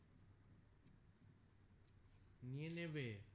নিয়ে নেবে